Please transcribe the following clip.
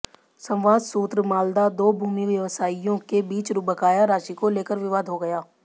संवाद सूत्र मालदा दो भूमि व्यवसायियों के बीच बकाया राशि को लेकर विवाद हो गया